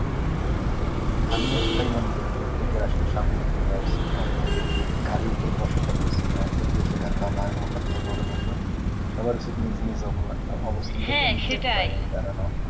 আমিও সেটাই মনে করি। প্রত্যেকের আসলে স্বাবলম্বী হওয়া উচিৎ। অন্যের ঘাড়ের উপর বসে থাকা উচিৎ নয়। যদিও সেটা বাবা হোক অথবা বড় ভাই হোক। সবার উচিত নিজ নিজ অবলা~ অবস্থান থেকে নিজের পায়ে দাঁড়ানো।